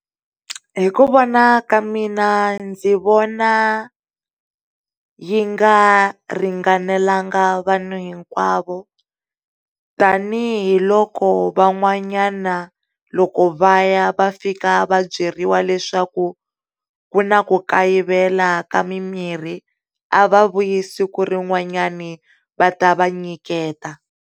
Hi ku vona ka mina ndzi vona yi nga ringanelanga vanhu hinkwavo tanihiloko va n'wanyana wa loko vaya va fika vabyeriwa leswaku ku na ku kayivela ka mi mirhi a va vuyi siku rin'wanyani va ta va nyiketa.